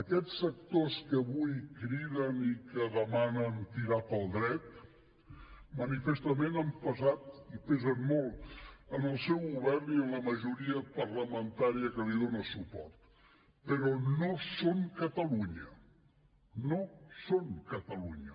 aquests sectors que avui criden i que demanen tirar pel dret manifestament han pesat i pesen molt en el seu govern i en la majoria parlamentària que li dona suport però no són catalunya no són catalunya